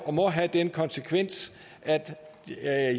og må have den konsekvens at